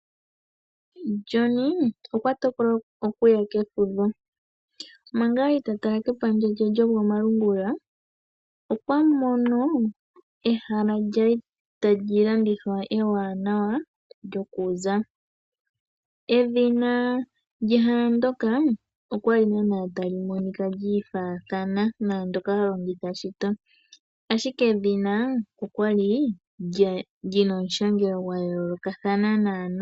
John okwa tokola okuya kefudho. Manga kwali ta tala kepandja lye lyokomalungula okwa mono ehala tali landithwa ewanawa lyoku za. Edhina lyehala ndyoka okwali tali monika lyiifaathana naandoka halongitha shito ashike edhina okwali li na omushangelo gwa yoolokathana.